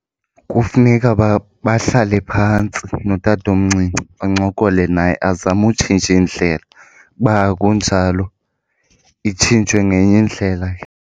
Kufuneka bahlale phantsi notatomncinci bancokole naye azame utshintsha indlela, uba akunjalo itshintshwe ngenye indlela ke.